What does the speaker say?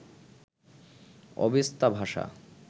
Avesta ভাষা